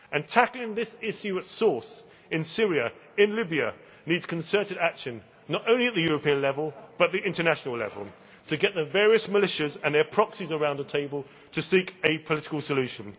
Tackling this issue at source in Syria and Libya needs concerted action, not only at European level but at international level, to get the various militias and their proxies around a table to seek a political solution.